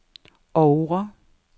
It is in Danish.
Oure